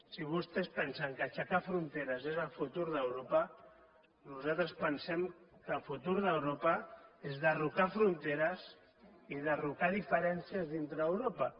si vostès pensen que aixecar fronteres és el futur d’europa nosaltres pensem que el futur d’europa és derrocar fronteres i derrocar diferències dintre d’europa